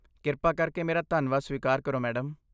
ਕਿਰਪਾ ਕਰਕੇ ਮੇਰਾ ਧੰਨਵਾਦ ਸਵੀਕਾਰ ਕਰੋ, ਮੈਡਮ!